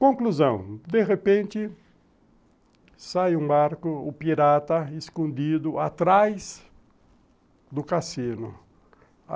Conclusão, de repente, sai um arco, o pirata escondido atrás do cassino.